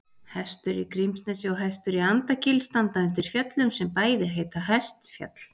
Hestur í Grímsnesi og Hestur í Andakíl standa undir fjöllum sem bæði heita Hestfjall.